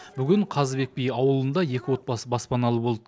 бүгін қазыбек би ауылында екі отбасы баспаналы болды